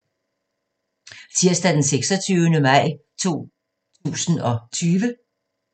Tirsdag d. 26. maj 2020